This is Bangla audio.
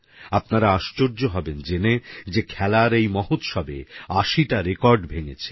আপনারা আশ্চর্য হবেন জেনে যে খেলার এই মহোৎসবে আশিটা রেকর্ড ভেঙেছে